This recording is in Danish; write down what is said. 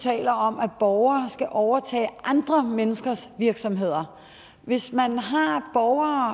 taler om at borgere skal overtage andre menneskers virksomheder hvis man har borgere